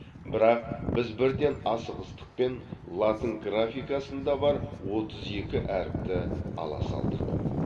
бірақ біз бірден асығыстықпен латын графикасында бар отыз екі әріпті ала салдық